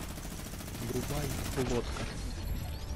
врубай лодка